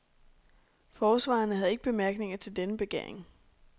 Forsvarerne havde ikke bemærkninger til denne begæring.